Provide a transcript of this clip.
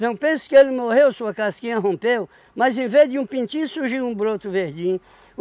Não pense que ele morreu, sua casquinha rompeu, mas em vez de um pintinho surgiu um broto verdinho.